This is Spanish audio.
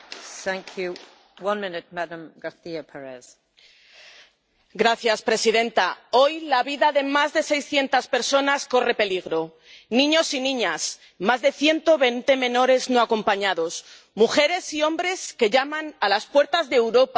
Señora presidenta, hoy la vida de más de 600 personas corre peligro niños y niñas —más de 120 menores no acompañados—, mujeres y hombres que llaman a las puertas de Europa huyendo de la guerra y del hambre.